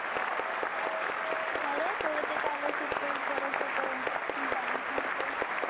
अरे तुला ते scholarship चं विचारायचं होतं. bank मधलं.